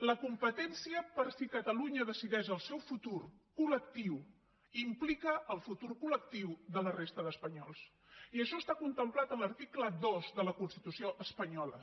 la competència per si catalunya decideix el seu futur collectiu de la resta d’espanyols i això està contemplat en l’article dos de la constitució espanyola